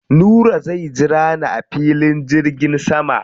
Nura zai jira ni a filin jirgin sama.